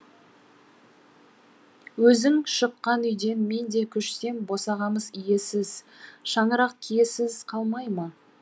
өзің шыққан үйден мен де көшсем босағамыз иесіз шаңырақ киесіз қалмай ма